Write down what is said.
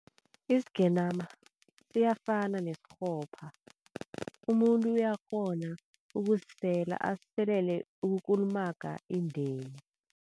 Isigenama siyafana nesikghopha, umuntu uyakghona ukusisela asiselele ukukulumaga indeni.